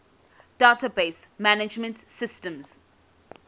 database management systems